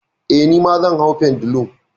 Eh, nima zan hau pendulum.